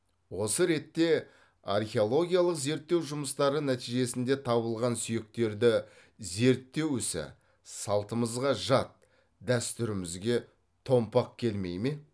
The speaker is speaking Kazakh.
осы ретте археологиялық зерттеу жұмыстары нәтижесінде табылған сүйектерді зерттеу ісі салтымызға жат дәстүрімізге томпақ келмей ме